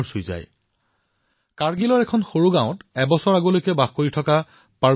হিমায়ৎ কাৰ্যসূচীৰ জৰিয়তে নিজৰ জীৱন পৰিৱৰ্তিত কৰিবলৈ সমৰ্থ হোৱা লোকসকলৰ কাহিনীসমূহ সঁচাকৈয়ে হৃদয়স্পৰ্শী